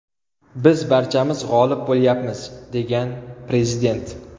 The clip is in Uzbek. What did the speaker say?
Biz barchamiz g‘olib bo‘lyapmiz”, degan prezident.